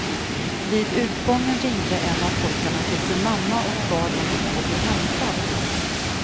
Vid utgången ringde en av pojkarna till sin mamma och bad om att få bli hämtad.